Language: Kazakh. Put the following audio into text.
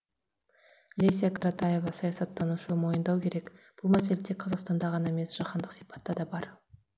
леся каратаева саясаттанушы мойындау керек бұл мәселе тек қазақстанда ғана емес жаһандық сипатта да бар